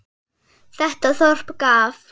Þetta þorp gaf